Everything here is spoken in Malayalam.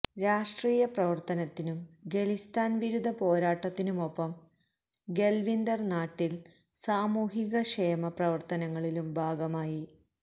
രാഷ്ട്രീയ പ്രവർത്തനത്തിനും ഖലിസ്ഥാൻ വിരുദ്ധ പോരാട്ടത്തിനുമൊപ്പം ബൽവിന്ദർ നാട്ടിൽ സാമൂഹിക ക്ഷേമ പ്രവർത്തനങ്ങളിലും ഭാഗമായി